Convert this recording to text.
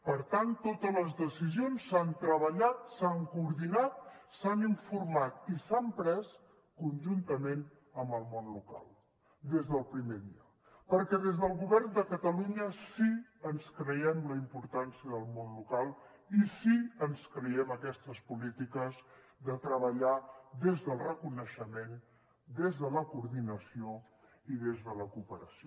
per tant totes les decisions s’han treballat s’han coordinat s’han informat i s’han pres conjuntament amb el món local des del primer dia perquè des del govern de catalunya sí que ens creiem la importància del món local i sí que ens creiem aquestes polítiques de treballar des del reconeixement des de la coordinació i des de la cooperació